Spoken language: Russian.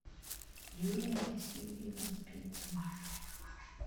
юлия васильевна спицына